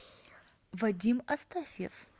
вадим астафьев